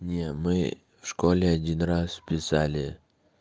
нет мы в школе один раз писали